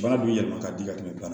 Baara bɛ yɛlɛma ka di ka tɛmɛ